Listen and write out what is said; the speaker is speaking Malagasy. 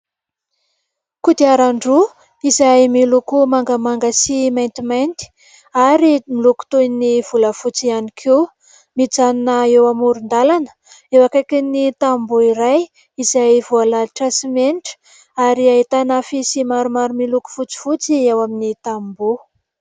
Kodiaran-droa izay miloko mangamanga sy maitimaity ary miloko toy ny volafotsy ihany koa ; mijanona eo amoron-dalana eo akaikin'ny tamboho iray izay voalalotra simenitra ary ahitana afisy maromaro miloko fotsifotsy ao amin'ny tamboho.